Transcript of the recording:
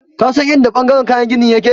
Ka san in da ɓangaren kayan gini ya ke?